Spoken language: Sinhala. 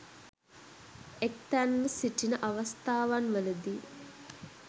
එක්තැන් ව සිටින අවස්ථාවන්වලදී